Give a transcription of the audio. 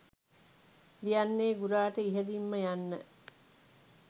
ලියන්නේ ගුරාට ඉහලින්ම යන්න